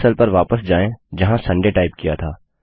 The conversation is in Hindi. उस सेल पर वापस जाएँ जहाँ सुंदय टाइप किया था